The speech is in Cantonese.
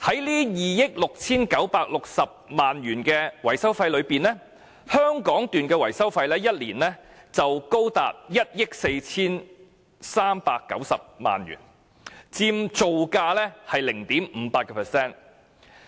在2億 6,960 萬元的維修費中，香港段的維修費一年已高達1億 4,390 萬元，佔造價的 0.58%。